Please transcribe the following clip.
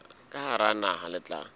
ka hara naha le tla